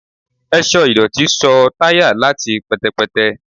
ẹṣọ idotí ṣọ tayá latí pẹtẹpẹtẹ